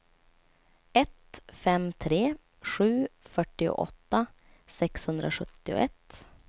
ett fem tre sju fyrtioåtta sexhundrasjuttioett